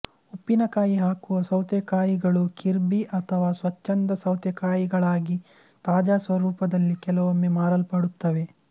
ಉಪ್ಪಿನಕಾಯಿ ಹಾಕುವ ಸೌತೆಕಾಯಿಗಳು ಕಿರ್ಬಿ ಅಥವಾ ಸ್ವಚ್ಛಂದ ಸೌತೆಕಾಯಿಗಳಾಗಿ ತಾಜಾ ಸ್ವರೂಪದಲ್ಲಿ ಕೆಲವೊಮ್ಮೆ ಮಾರಲ್ಪಡುತ್ತವೆ